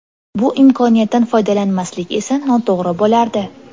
Bu imkoniyatdan foydalanmaslik esa noto‘g‘ri bo‘lardi.